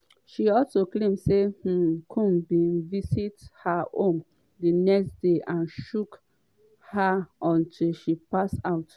she also claim say um combs bin visit her home di next day and choke her until she pass out.